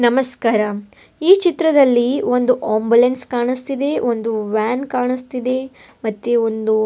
ನಮಸ್ಕಾತ ಈ ಚಿತ್ರದಲ್ಲಿ ಒಂದು ಆಂಬುಲೆನ್ಸ್ ಒಂದು ವ್ಯಾನ್ ಕಾಣಿಸ್ತಿದೆ ಮತ್ತೆ ಒಂದು --